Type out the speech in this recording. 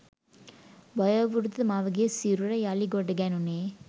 වයෝවෘද්ධ මවගේ සිරුර යළි ගොඩ ගැනුනේ